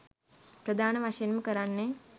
ප්‍රධාන වශයෙන්ම කරන්නෙ